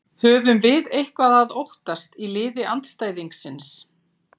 Höfum við eitthvað að óttast í liði andstæðingsins?